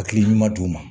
Hakili ɲuman d'u ma